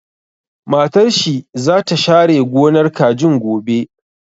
Matar shi za ta share gonar kajin gobe